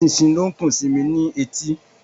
Eṣinṣin ni ó ń kùn sí mí ní etí